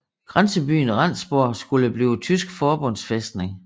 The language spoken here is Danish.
Grænsebyen Rendsborg skulle blive tysk forbundsfæstning